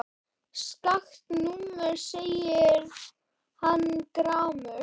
Skakkt númer segir hann gramur.